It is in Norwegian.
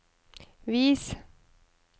vis